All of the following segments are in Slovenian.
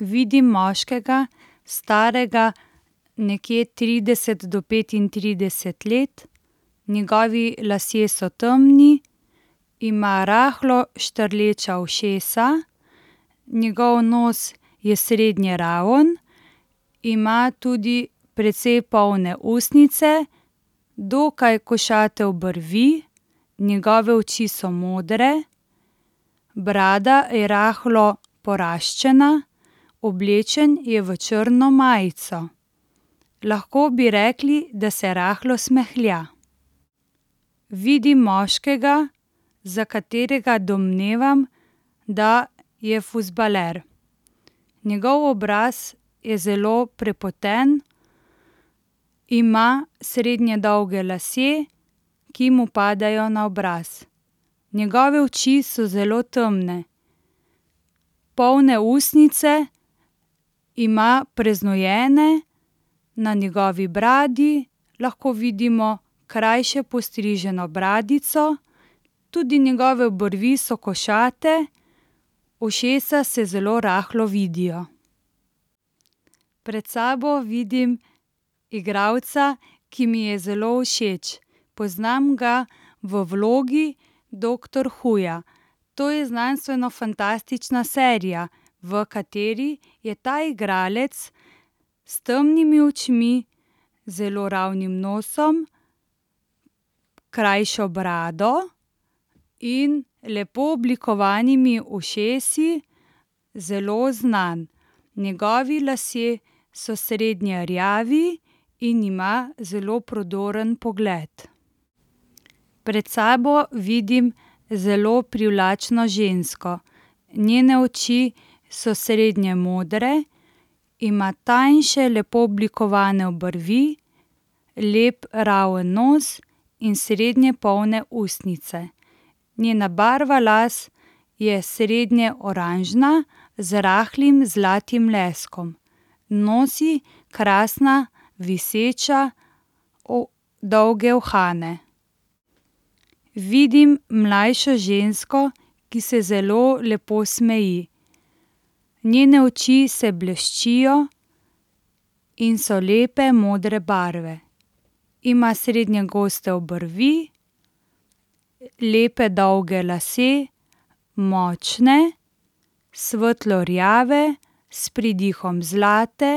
Vidim moškega, starega nekje trideset do petintrideset let. Njegovi lasje so temni, ima rahlo štrleča ušesa, njegov nos je srednje raven, ima tudi precej polne ustnice, dokaj košate obrvi, njegove oči so modre, brada je rahlo poraščena, oblečen je v črno majico. Lahko bi rekli, da se rahlo smehlja. Vidim moškega, za katerega domnevam, da je fuzbaler. Njegov obraz je zelo prepoten, ima srednje dolge lase, ki mu padajo na obraz. Njegove oči so zelo temne. Polne ustnice ima preznojene, na njegovi bradi lahko vidimo krajše postriženo bradico. Tudi njegove obrvi so košate, ušesa se zelo rahlo vidijo. Pred sabo vidim igralca, ki mi je zelo všeč. Poznam ga v vlogi doktor Whoja. To je znanstvenofantastična serija, v kateri je ta igralec s temnimi očmi, zelo ravnim nosom, krajšo brado in lepo oblikovanimi ušesi zelo znan. Njegovi lasje so srednje rjavi in ima zelo prodoren pogled. Pred sabo vidim zelo privlačno žensko. Njene oči so srednje modre, ima tanjše, lepo oblikovane obrvi, lep raven nos in srednje polne ustnice. Njena barva las je srednje oranžna z rahlim zlatim leskom. Nosi krasne, viseče, dolge uhane. Vidim mlajšo žensko, ki se zelo lepo smeji. Njene oči se bleščijo in so lepe modre barve. Ima srednje goste obrvi, lepe, dolge lase, močne, svetlo rjave s pridihom zlate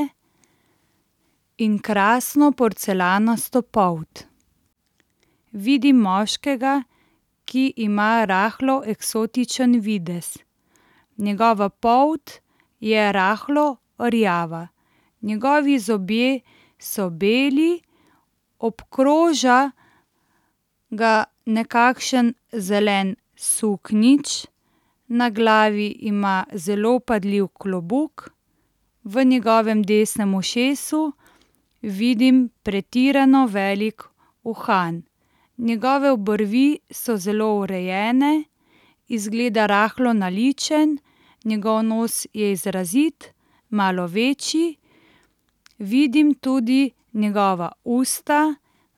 in krasno porcelanasto polt. Vidim moškega, ki ima rahlo eksotičen videz. Njegova polt je rahlo rjava. Njegovi zobje so beli, obkroža ga nekakšen zelen suknjič, na glavi ima zelo vpadljiv klobuk, v njegovem desnem ušesu vidim pretirano velik uhan. Njegove obrvi so zelo urejene, izgleda rahlo naličen, njegov nos je izrazit, malo večji. Vidim tudi njegova usta,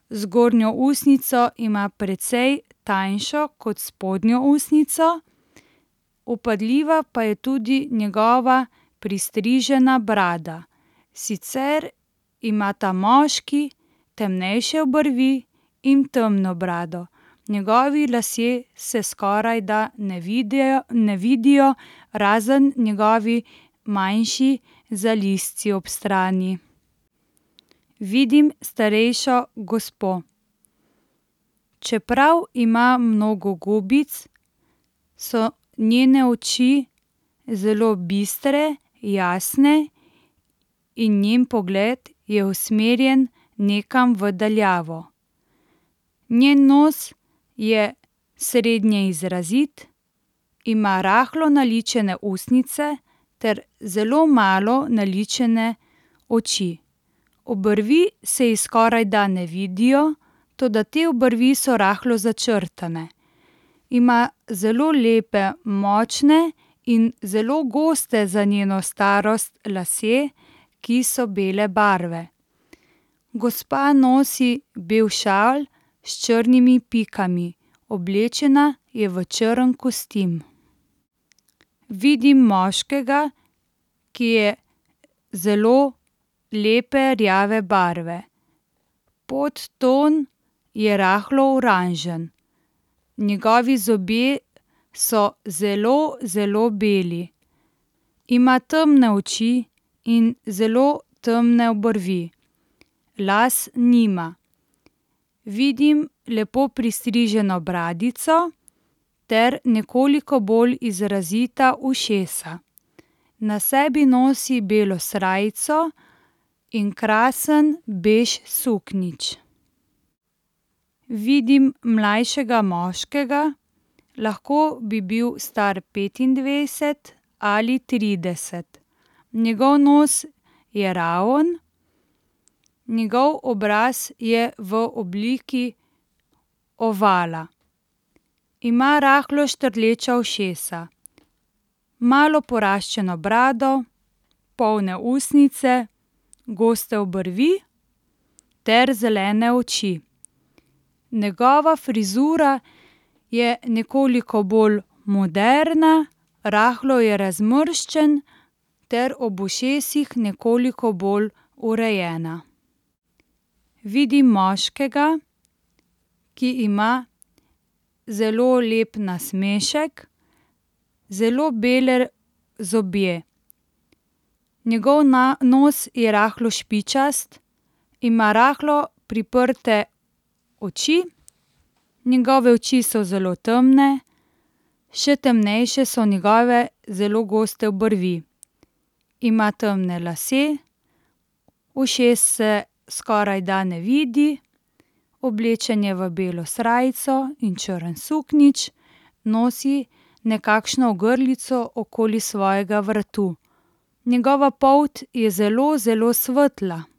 zgornjo ustnico ima precej tanjšo kot spodnjo ustnico. Vpadljiva pa je tudi njegova pristrižena brada. Sicer ima ta moški temnejše obrvi in temno brado. Njegovi lasje se skorajda ne ne vidijo, razen njegovi manjši zalizci ob strani. Vidim starejšo gospo. Čeprav ima mnogo gubic, so njene oči zelo bistre, jasne in njen pogled je usmerjen nekam v daljavo. Njen nos je srednje izrazit, ima rahlo naličene ustnice ter zelo malo naličene oči. Obrvi se je skorajda ne vidijo, toda te obrvi so rahlo začrtane. Ima zelo lepe močne in zelo goste, za njeno starost, lase, ki so bele barve. Gospa nosi bel šal s črnimi pikami. Oblečena je v črn kostim. Vidim moškega, ki je zelo lepe rjave barve. Podton je rahlo oranžen. Njegovi zobje so zelo, zelo beli. Ima temne oči in zelo temne obrvi. Las nima. Vidim lepo pristriženo bradico ter nekoliko bolj izrazita ušesa. Na sebi nosi belo srajco in krasen bež suknjič. Vidim mlajšega moškega, lahko bi bil star petindvajset ali trideset. Njegov nos je raven, njegov obraz je v obliki ovala. Ima rahlo štrleča ušesa, malo poraščeno brado, polne ustnice, goste obrvi ter zelene oči. Njegova frizura je nekoliko bolj moderna, rahlo je razmrščen, ter ob ušesih nekoliko bolj urejena. Vidim moškega, ki ima zelo lep nasmešek, zelo bele zobe. Njegov nos je rahlo špičast, ima rahlo priprte oči, njegove oči so zelo temne, še temnejše so njegove zelo goste obrvi. Ima temne lase, ušes se skorajda ne vidi, oblečen je v belo srajco in črn suknjič, nosi nekakšno ogrlico okoli svojega vratu. Njegova polt je zelo, zelo svetla.